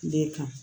De kan